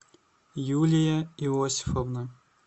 юлия иосифовна